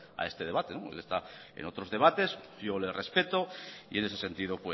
a este debate él está en otros debates yo le respeto y en ese sentido